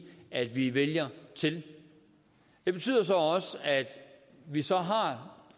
at vi vælger til det betyder så også at vi så